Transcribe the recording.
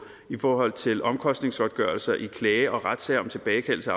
i forhold til omkostningsgodtgørelser i klager og retssager om tilbagekaldelse